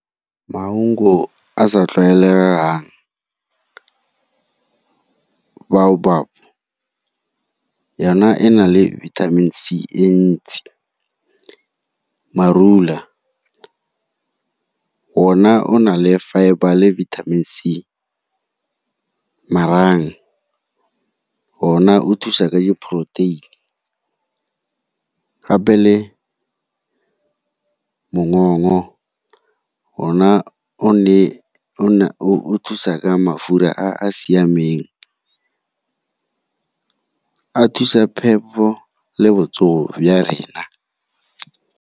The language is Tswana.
Maungo a sa tlwaelegang, biobab yona e na le vitamin C e ntsi. Marula, ona o na le fibre le vitamin C, marang, ona o thusa ka di-protein, gape le ona o thusa ka mafura a a siameng, a thusa phepho le botsogo rena.